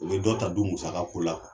O bɛ dɔ ta du musaka ko la.